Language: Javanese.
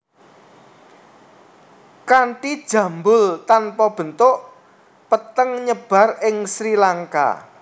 Kanti jambul tanpa bentuk petengNyebar ing Sri Lanka